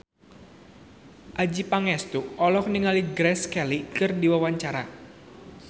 Adjie Pangestu olohok ningali Grace Kelly keur diwawancara